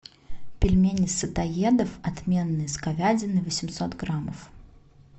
пельмени сытоедов отменные с говядиной восемьсот граммов